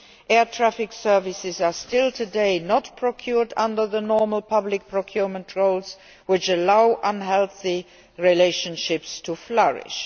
Air traffic services today are still not procured under the normal public procurement rules, which allows unhealthy relationships to flourish.